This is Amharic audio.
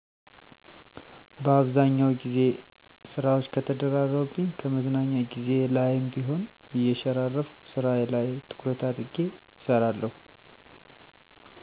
በአብዛኛው ግዜ ስራወች ከተደራረቡብኝ ከመዝናኛ ግዜየ ላይም ቢሆን እየሸራረፍኩ ስራየ ላይ ትኩረት አድርጌ እሰራለሁ።